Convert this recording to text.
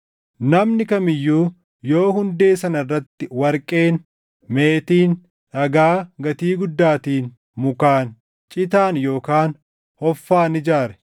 Namni kam iyyuu yoo hundee sana irratti warqeen, meetiin, dhagaa gatii guddaatiin, mukaan, citaan yookaan hoffaan ijaare,